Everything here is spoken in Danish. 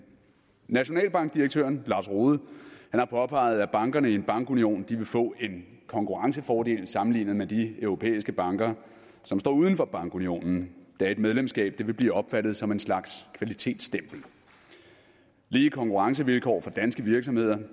nationalbankdirektøren lars rohde har påpeget at bankerne i en bankunion vil få en konkurrencefordel sammenlignet med de europæiske banker som står uden for bankunionen da et medlemskab vil blive opfattet som en slags kvalitetsstempel lige konkurrencevilkår for danske virksomheder